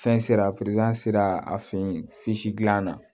Fɛn sera a sera a fe yen gilan na